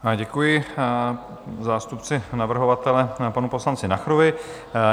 Děkuji zástupci navrhovatele, panu poslanci Nacherovi.